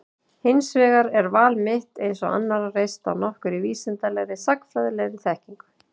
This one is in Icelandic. Hins vegar er val mitt, eins og annarra, reist á nokkurri vísindalegri, sagnfræðilegri, þekkingu.